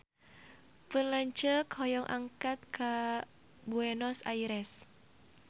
Pun lanceuk hoyong angkat ka Buenos Aires